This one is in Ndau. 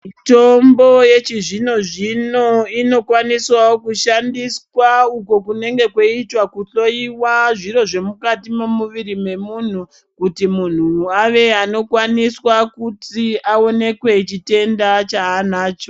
Mitombo yechizvino-zvino inokwaniswavo kushandiswa uko kunenge kweiitwa kuhloiwa zviro zvemukati memuviri memuntu. Kuti muntu ave anokwaniswa kuti aonekwe chitenda chaanacho.